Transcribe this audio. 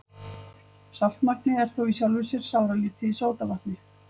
Saltmagnið er þó í sjálfu sér sáralítið í sódavatni.